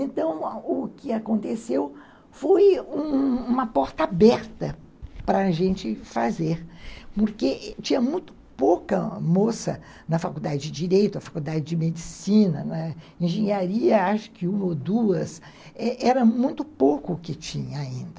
Então, o que aconteceu foi uma porta aberta para a gente fazer, porque tinha muito pouca moça na faculdade de direito, na faculdade de medicina, não é, na engenharia, acho que uma ou duas, era muito pouco o que tinha ainda.